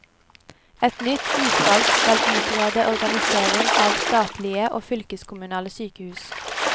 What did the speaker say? Et nytt utvalg skal utrede organisering av statlige og fylkeskommunale sykehus.